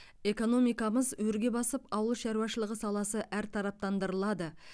экономикамыз өрге басып ауыл шаруашылығы саласы әртараптандырылады